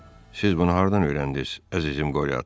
Siz bunu hardan öyrəndiz, əzizim Qorio ata?